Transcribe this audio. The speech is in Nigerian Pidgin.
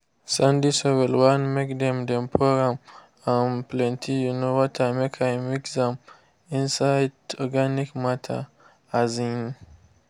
sandy soil want make dem dem pour am um plenty um water make i mix am inside organic matter. um